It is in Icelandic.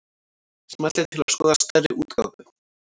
Smellið til að skoða stærri útgáfu